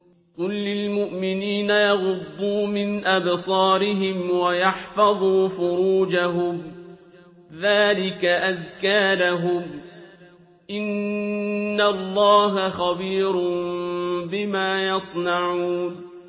قُل لِّلْمُؤْمِنِينَ يَغُضُّوا مِنْ أَبْصَارِهِمْ وَيَحْفَظُوا فُرُوجَهُمْ ۚ ذَٰلِكَ أَزْكَىٰ لَهُمْ ۗ إِنَّ اللَّهَ خَبِيرٌ بِمَا يَصْنَعُونَ